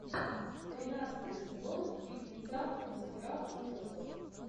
тринадцатый сезон фильмеца мастера ужасов